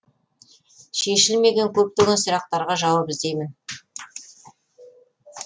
шешілмеген көптеген сұрақтарға жауап іздеймін